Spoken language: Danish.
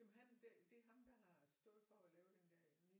Jamen han det er ham der har stået for at lave den der nye